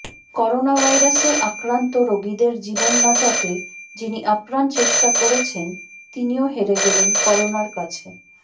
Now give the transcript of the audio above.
করোনাভাইরাসে আক্রান্ত রোগীদের জীবন বাঁচাতে যিনি আপ্রাণ চেষ্টা করেছেন তিনিও হেরে গেলেন করোনার কাছে